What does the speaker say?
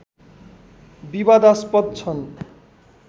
विवादास्पद छन्